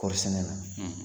Kɔɔri sɛnɛ na.